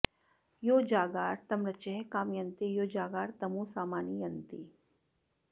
यो जागार तमृचः कामयन्ते यो जागार तमु सामानि यन्ति